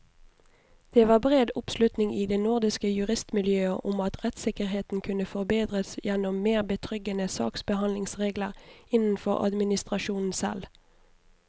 Det var bred oppslutning i det nordiske juristmiljøet om at rettssikkerheten kunne forbedres gjennom mer betryggende saksbehandlingsregler innenfor administrasjonen selv.